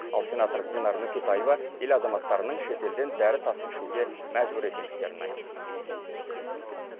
ал сенатор динар нүкетаева ел азаматтарының шетелден дәрі тасып ішуге мәжбүр екендіктерін айтты